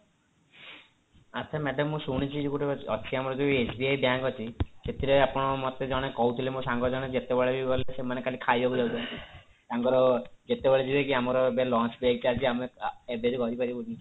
ଆଛା madam ମୁଁ ଶୁଣିଛି ଯୋଉ ଗୋଟେ ଅଛି ଆମର SBI bank ଅଛି ସେଥିରେ ଆପଣ ମୋତେ ଜଣେ କହୁଥିଲେ ମୋ ସାଙ୍ଗ ଜଣେ ଯେତେବେଳେ ବି ଗଲେ ସେମାନେ ଖାଲି ଖାଇବାକୁ ଯାଉଛନ୍ତି ତାଙ୍କର ଯେତେବେଳେ ଯିବେ କି ଆମର ଏବେ lunch break ଚାଲିଛି ଆମେ ଏବେ ରହିପାରିବୁନି